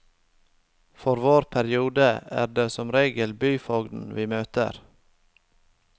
For vår periode er det som regel byfogden vi møter.